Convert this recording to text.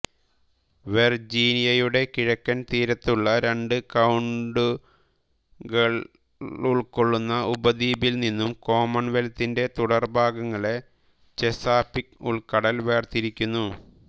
വെർജീനിയയുടെ കിഴക്കൻ തീരത്തുള്ള രണ്ട് കൌണ്ടികളുൾക്കൊള്ളുന്ന ഉപദ്വീപിൽ നിന്നും കോമൺവെൽത്തിന്റെ തുടർഭാഗങ്ങളെ ചെസാപീക്ക് ഉൾക്കടൽ വേർതിരിക്കുന്നു